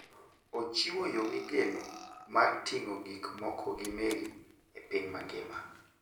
Ochiwo yo migeno mar ting'o gik moko gi meli e piny mangima.